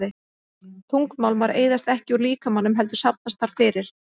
Þungmálmar eyðast ekki úr líkamanum heldur safnast þar fyrir.